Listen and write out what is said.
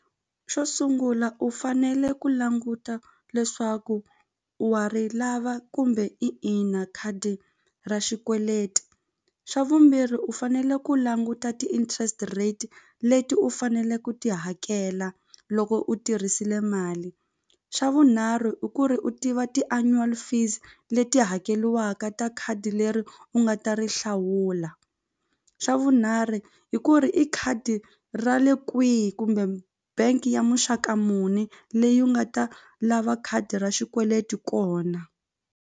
Xo sungula u fanele ku languta leswaku wa ri lava kumbe i ina khadi ra xikweleti xa vumbirhi u fanele ku languta ti-interest rate leti u fanele ku ti hakela loko u tirhisile mali xa vunharhu i ku ri u tiva ti-annual fees leti hakeliwaka ta khadi leri u nga ta ri hlawula xa vunharhu hi ku ri i khadi ra le kwihi kumbe bank ya muxaka muni leyi u nga ta lava khadi ra xikweleti kona.